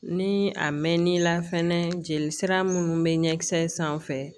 Ni a mɛn'i la fɛnɛ jeli sira minnu bɛ ɲɛ kisɛ sanfɛ